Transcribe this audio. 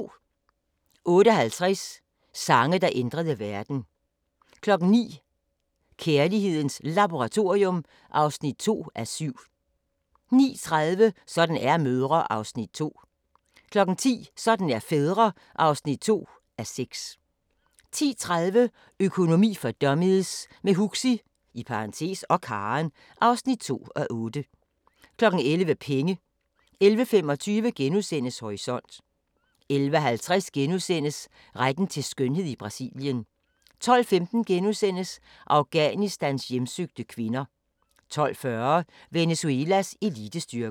08:50: Sange, der ændrede verden 09:00: Kærlighedens Laboratorium (2:7) 09:30: Sådan er mødre (2:6) 10:00: Sådan er fædre (2:6) 10:30: Økonomi for dummies – med Huxi (og Karen) (2:8) 11:00: Penge 11:25: Horisont * 11:50: Retten til skønhed i Brasilien * 12:15: Afghanistans hjemsøgte kvinder * 12:40: Venezuelas elitestyrker